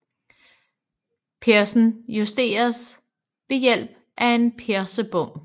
Persen justeres ved hjælp af en persebom